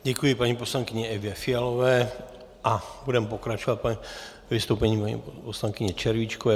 Děkuji paní poslankyni Evě Fialové a budeme pokračovat vystoupením paní poslankyně Červíčkové.